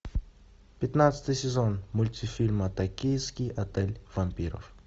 пятнадцатый сезон мультифильма токийский отель вампиров